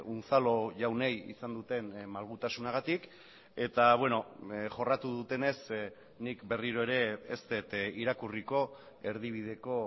unzalu jaunei izan duten malgutasunagatik eta jorratu dutenez nik berriro ere ez dut irakurriko erdibideko